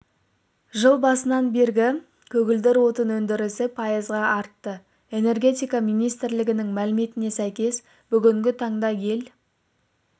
жыл басынан бергі көгілдір отын өндірісі пайызға артты энергетика министрлігінің мәліметіне сәйкес бүгінгі таңда ел